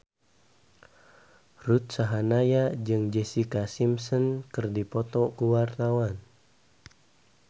Ruth Sahanaya jeung Jessica Simpson keur dipoto ku wartawan